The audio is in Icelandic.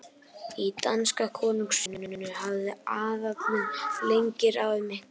Í danska konungsríkinu hafði aðallinn lengi ráðið miklu.